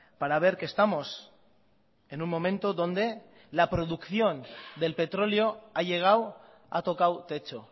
para ver que estamos en un momento donde la producción del petróleo ha llegado ha tocado techo